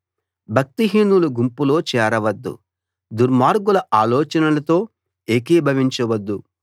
భక్తిహీనుల గుంపులో చేరవద్దు దుర్మార్గుల ఆలోచనలతో ఏకీభవించవద్దు